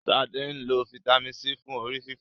Sade nlọ Vitamin c fún orí-fífọ́.